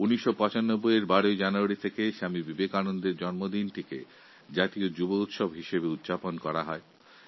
১৯৯৫ সাল থেকে ১২ই জানুয়ারি স্বামী বিবেকানন্দের জন্মজয়ন্তীর দিনটি জাতীয় যুব উৎসব হিসেবে পালন করা হয়